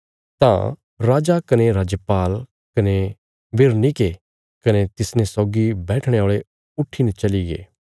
तां राजा कने राजपाल कने बिरनीके कने तिसने सौगी बैठणे औल़े उट्ठीने चलीगे